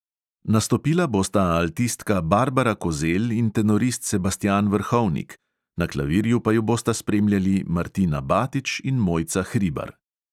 Nastopila bosta altistka barbara kozelj in tenorist sebastjan vrhovnik, na klavirju pa ju bosta spremljali martina batič in mojca hribar.